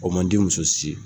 O man di muso si ye.